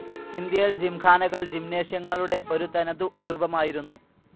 ഇന്ത്യയിൽ ജിംഖാനകൾ ജിംനേഷ്യങ്ങളുടെ ഒരു തനതു രൂപമായിരുന്നു.